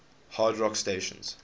hard rock stations